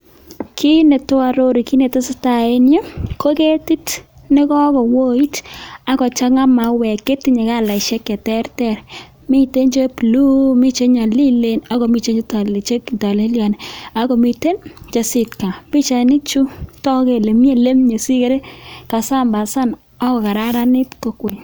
Kiit netoo ororu kiit netesetaa en yuu ko ketit neko kowoit ak kochang'a mauwek chetinye kalaishek cheterter, miten che blue mii chenyolilen ak komii chetolelion ak komiten chesitkam, pichaini chuu tokuu kelee mii elemie sikere kasambasan ak ko kararanit kokwet.